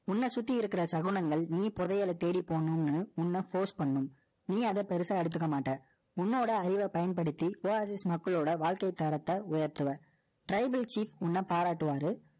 உன்னை சுத்தி இருக்கிற சகுனங்கள், நீ புதையலை தேடி போகணும்னு, உன்னை force பண்ணும். நீ அதை பெருசா எடுத்துக்க மாட்ட. உன்னோட அறிவை பயன்படுத்தி, Oasis மக்களோட வாழ்க்கை தரத்தை உயர்த்துவ Tribal Chirf உன்னை பாராட்டுவாரு.